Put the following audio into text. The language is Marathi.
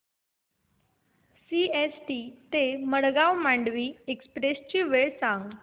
सीएसटी ते मडगाव मांडवी एक्सप्रेस ची वेळ सांगा